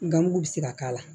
Gamugu bɛ se ka k'a la